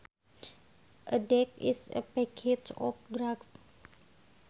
A deck is a packet of drugs